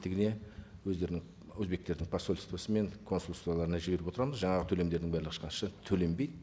өздерінің өзбектердің посольствосы мен консулстволарына жіберіп отырамыз жаңағы төлемдердің бәрі ешқайсы төленбейді